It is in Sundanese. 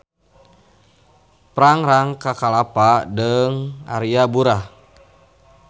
Prangrang ka Kalapa deung Aria Burah.